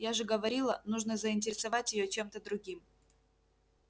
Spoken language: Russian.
я же говорила нужно заинтересовать её чем-то другим